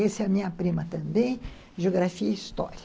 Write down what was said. Esse é a minha prima também, Geografia e História.